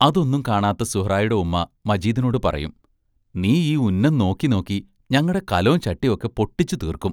അതൊന്നും കാണാത്ത സുഹ്റായുടെ ഉമ്മാ മജീദിനോടു പറയും; നീ ഈ ഉന്നം നോക്കി നോക്കി ഞങ്ങടെ കലോം ചട്ടീം ഒക്കെ പൊട്ടിച്ചു തീർക്കും.